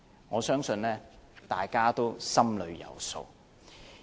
我相信大家心裏有數。